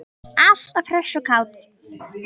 Alltaf hress og kát.